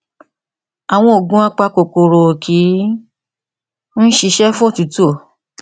àwọn òògùn apa kòkòrò ò kí ń ṣiṣẹ fún òtútù